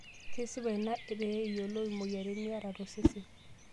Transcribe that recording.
Kesipa ina pee iyiolou imoyiaritin niyata tosesen.